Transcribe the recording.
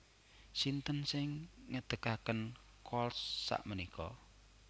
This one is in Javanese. Sinten sing ngedekaken Kohls sakmenika